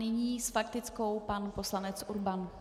Nyní s faktickou pan poslanec Urban.